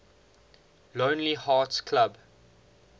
lonely hearts club